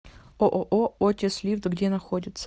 ооо отис лифт где находится